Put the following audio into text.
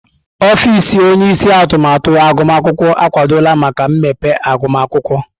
Ọfịs onye isi atụmatụ agụmakwụkwọ akwadola maka mmepe agụmakwụkwọ.